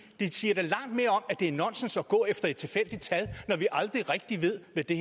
det siger da langt mere om at det er nonsens at gå efter et tilfældigt tal når vi aldrig rigtig ved hvad det